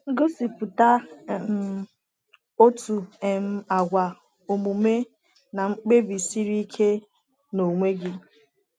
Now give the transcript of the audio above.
Gosipụta um otu um àgwà omume na mkpebi siri ike n’onwe gị.